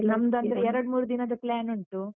ನಮ್ದಂದ್ರೆ ಎರಡು ಮೂರು ದಿನದ plan ಉಂಟು.